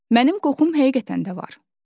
Mənim qoxum həqiqətən də var.